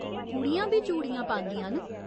कुड़ियां बी चूड़ियां पांदियां न।